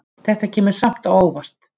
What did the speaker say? Þetta kemur samt á óvart.